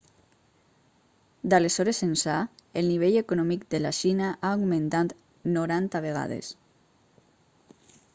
d'aleshores ençà el nivell econòmic de la xina ha augmentat 90 vegades